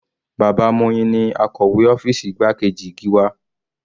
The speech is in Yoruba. Bàbá Moyin ni akọ̀wé ọ́fìsì igbákejì Gíwá.